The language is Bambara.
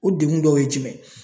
O degun dɔw ye jumɛn ye ?